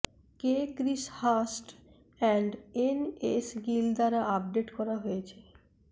কে Chris Hurst এবং NS Gill দ্বারা update করা হয়েছে